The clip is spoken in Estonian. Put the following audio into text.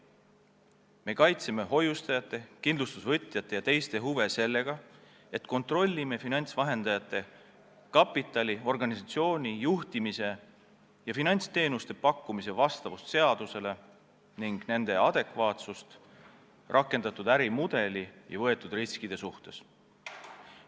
Me kaitseme hoiustajate, kindlustusvõtjate ja teiste huve sellega, et kontrollime finantsvahendajate kapitali, organisatsiooni juhtimise ja finantsteenuste pakkumise vastavust seadusele ning nende adekvaatsust rakendatud ärimudeli ja võetud riskide suhtes.